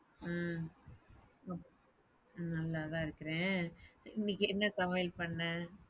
ஹ்ம்ம் நல்லாதான் இருக்குறேன் இன்னிக்கு என்ன சமையல் பண்ண?